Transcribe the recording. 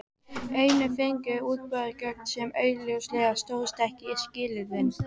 En fengu einhverjir útboðsgögn sem augljóslega stóðust ekki skilyrðin?